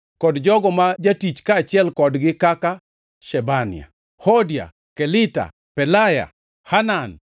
kod jogo ma jatich kaachiel kodgi kaka: Shebania, Hodia, Kelita, Pelaya, Hanan,